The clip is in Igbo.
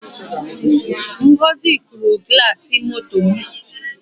ngọzi kụrụ glasi moto m